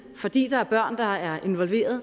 fordi der er børn der er involveret